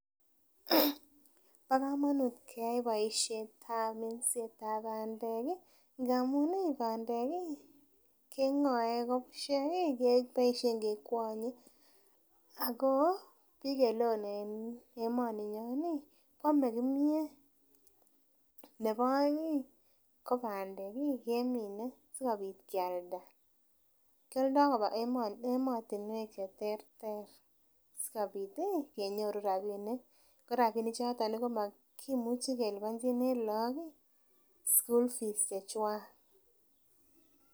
Bo komonut keyai boisiet ab minset ab bandek ih ngamun ih bandek ih keng'oe ako bushek ih keboisien kekwonye ako biik eleoo en emoninyon ih koame kimyet nebo oeng ih ko bandek ih kemine sikobit kialda, kioldoo koba emotinwek cheterter sikobit ih kenyoru rapinik ko rapinik choton kimuchi keliponjini look ih school fees chechwak